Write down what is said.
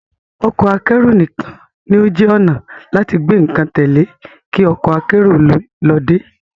Ọkọ akẹ́rù nìkan ní ó jẹ́ ọnà láti gbé nǹkan tẹ́lẹ̀ kí ọkọ akérò ló dé